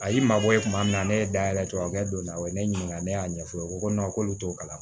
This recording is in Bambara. A y'i mabɔ kuma min na ne ye da yɛlɛ tubabukɛ don na o ye ne ɲininka ne y'a ɲɛfɔ u ko k'olu t'o kalama